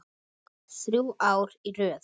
Þrjú ár í röð?